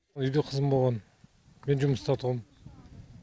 үйде қызым болған мен жұмыста тұғым